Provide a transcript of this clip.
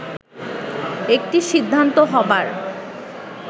একটি সিদ্ধান্ত হবার